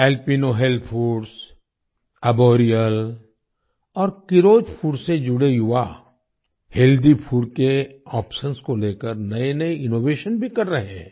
Alpino health foods Arboreal और Keeros food से जुड़े युवा हेल्थी फूड के आप्शंस को लेकर नएनए इनोवेशन भी कर रहे हैं